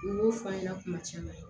U y'o fɔ a ɲɛna kuma caman